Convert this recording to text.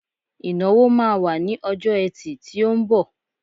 Ìnáwó má wà ní ọjọ́ ẹtì tí ó ńbọ̀.